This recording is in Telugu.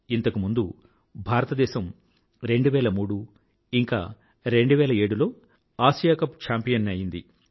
ఇంతకు ముండు భారతదేశం 2003 ఇంకా 2007 లో ఆసియా కప్ ఛాంపియన్ అయ్యింది